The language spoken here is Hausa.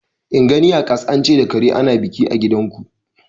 In gani a kas an ce da kare ana biki a gidanku.